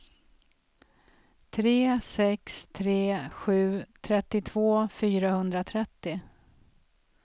tre sex tre sju trettiotvå fyrahundratrettio